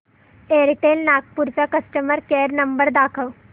Airtel Nagpur चा customer care number दाखव